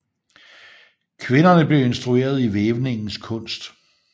Kvinderne blev instrueret i vævningens kunst